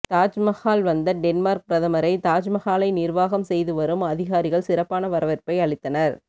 தாஜ்மஹால் வந்த டென்மார்க் பிரதமரை தாஜ்மஹாலை நிர்வாகம் செய்து வரும் அதிகாரிகள் சிறப்பான வரவேற்பை அளித்தனர்